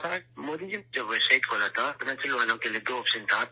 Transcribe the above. مودی جی ، جب website کھولا تھا تو اروناچل کے لوگوں کے لیے دو آپشن تھے